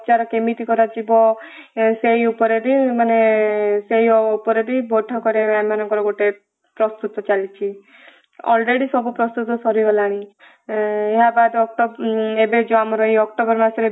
କେମିତି କରାଯିବ ସେଇ ଉପରେ ବି ମାନେ ସେଇ ଉପରେ ବୈଠକରେ ଏମାନଙ୍କର ଗୋଟେ ପ୍ରସ୍ତୁତ ଚାଲିଛି already ସବୁ ପ୍ରସ୍ତୁତ ସରିଗଲାଣି । ଏହା ବାଦ ଏବେ ଯୋଉ ଆମର ଅକ୍ଟୋବର ମାସରେ